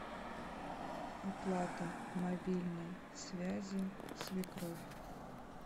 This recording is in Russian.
оплата мобильной связи свекровь